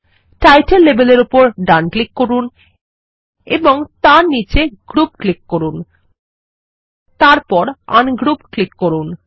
title লেবেলের উপর ডান ক্লিক করুন এবং তারপর নীচে গ্রুপ ক্লিক করুন তারপর আনগ্রুপ ক্লিক করুন